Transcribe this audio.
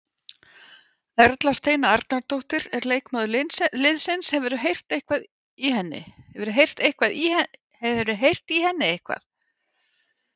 Erla Steina Arnardóttir er leikmaður liðsins, hefurðu heyrt í henni eitthvað?